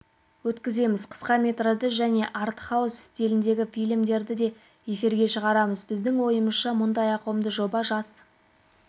өткіземіз қысқаметражды және арт-хаус стиліндегі фильмдерді де эфирге шығарамыз біздің ойымызша мұндай ауқымды жоба жас